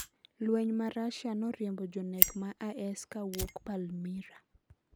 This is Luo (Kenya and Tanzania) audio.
Lweny ma Rusia noriembo jonek ma IS kawuok Palmyra